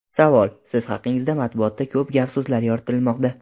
Savol: Siz haqingizda matbuotda ko‘p gap-so‘zlar yoritilmoqda.